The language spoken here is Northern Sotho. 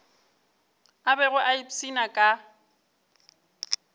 a bego a ipshina ka